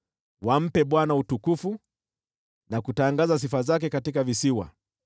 Wampe Bwana utukufu, na kutangaza sifa zake katika visiwa.